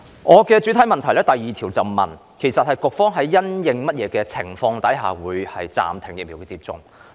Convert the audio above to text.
我的主體質詢第二部分問及局方因應甚麼情況暫停疫苗接種。